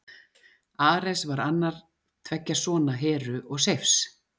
Ares var annar tveggja sona Heru og Seifs.